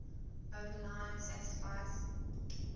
overline satisfies